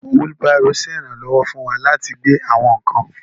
Wheelbarrow ṣe iranlọwọ fún wà latí gbé àwọn nkán.